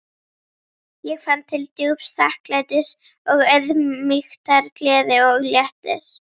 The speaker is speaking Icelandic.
Ég fann til djúps þakklætis og auðmýktar, gleði og léttis.